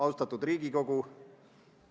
Austatud Riigikogu!